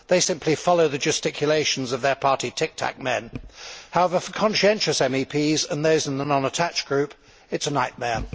They simply follow the gesticulations of their party tic tac men. However, for conscientious MEPs and those in the non attached group, it is a nightmare.